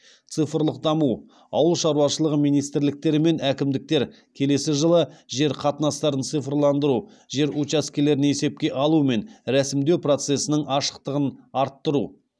цифрлық даму ауыл шаруашылығы министрліктері мен әкімдіктер келесі жылы жер қатынастарын цифрландыру жер учаскелерін есепке алу мен ресімдеу процесінің ашықтығын арттыру